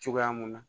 Cogoya mun na